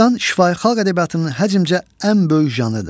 Dastan şifahi xalq ədəbiyyatının həcmcə ən böyük janrıdır.